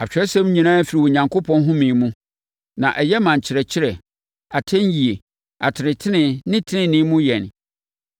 Atwerɛsɛm nyinaa firi Onyankopɔn home mu, na ɛyɛ ma nkyerɛkyerɛ, atɛnyie, atenetene ne tenenee mu yɛn,